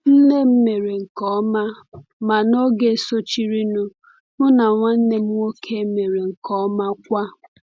Nne m mere nke ọma, ma n’oge sochirinụ, m na nwanne m nwoke mere nke ọma kwa.